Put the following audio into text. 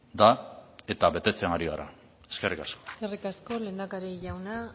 da eta betetzen ari gara eskerrik asko eskerrik asko lehendakari jauna